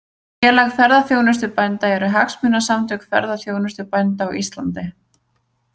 Félag ferðaþjónustubænda eru hagsmunasamtök ferðaþjónustubænda á Íslandi.